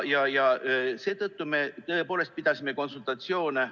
Seetõttu me tõepoolest pidasime konsultatsioone.